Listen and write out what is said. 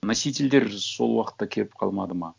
носительдер сол уақытта келіп қалмады ма